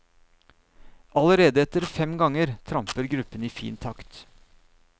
Allerede etter fem ganger tramper gruppen i fin takt.